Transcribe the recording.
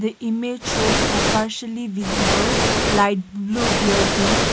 the image shows a partially visible light blue building.